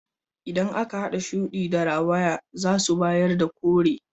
Idan aka hada shudi da rawaya zasu bayar da kore.